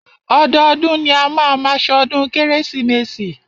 Ọdọọdún ni a máa má ṣọdún kérésìmesì.